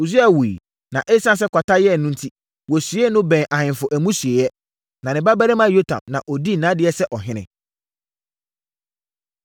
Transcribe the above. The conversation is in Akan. Usia wuiɛ, na ɛsiane sɛ kwata yɛɛ no enti, wɔsiee no bɛn ahemfo amusieeɛ. Na ne babarima Yotam na ɔdii nʼadeɛ sɛ ɔhene.